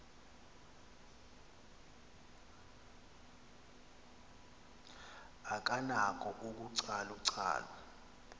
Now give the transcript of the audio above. akanako ukucalu calula